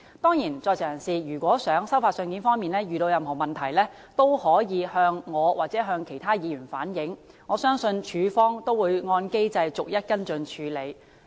當然，如果在囚人士在收發信件方面遇到任何問題，可以向我或其他議員反映，我相信署方會按機制逐一跟進處理。